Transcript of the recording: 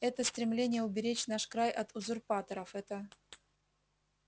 это стремление уберечь наш край от узурпаторов это